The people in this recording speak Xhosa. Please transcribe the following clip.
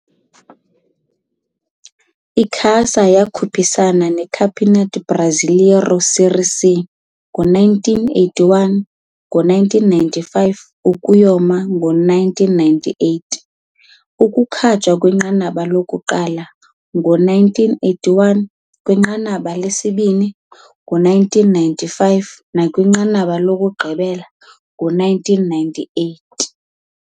Icasa wakhuphisana Campeonato Brasileiro Série C ngo 1981, 1995 yaye ngo-1998, ukukhutshwa kwinqanaba lokuqala ngo-1981, kwinqanaba lesibini ngo-1995, nakwinqanaba lokuqala ngo-1998